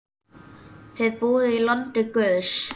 Þið búið í landi guðs.